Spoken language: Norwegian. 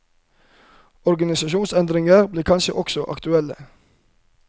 Organisasjonsendringer blir kanskje også aktuelle?